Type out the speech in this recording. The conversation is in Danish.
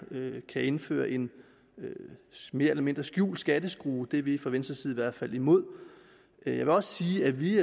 kan indføre en mere eller mindre skjult skatteskrue det er vi fra venstres side i hvert fald imod jeg vil også sige at vi